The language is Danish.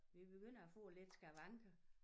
Vi begynder at få lidt skavanker